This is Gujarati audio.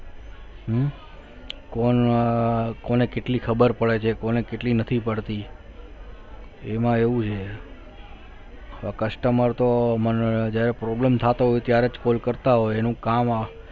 કોણ કોને કેટલી ખબર પડે છે કોને કેટલી નથી પડતી એમાં એવું છે customer તો મને problem થતો હોય ત્યારે જ call કરતા હોય એનું કામ